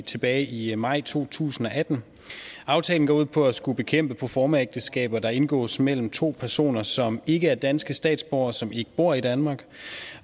tilbage i maj to tusind og atten aftalen går ud på at skulle bekæmpe proformaægteskaber der indgås mellem to personer som ikke er danske statsborgere som ikke bor i danmark